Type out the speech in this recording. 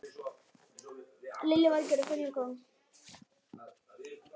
Lillý Valgerður: Og hvernig virkar hún?